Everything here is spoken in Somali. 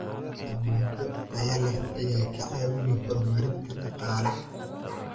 Dalagyo tayo leh ayaa ka caawiya horumarinta dhaqaalaha.